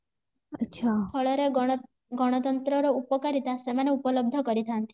ଫଳରେ ଗଣତନ୍ତ୍ର ର ଉପକାରିତା ସେମାନେ ଉପଲବ୍ଧ କରିଥାନ୍ତି